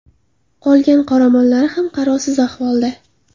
Qolgan qoramollari ham qarovsiz ahvolda.